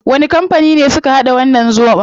Wani kampani ne suka hada wannan zobon?